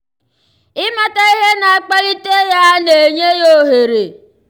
ịmata ihe na-akpalite ya na-enye ya ohere ime ihe gbasara ya tupu nrụgide nrụgide abawanye.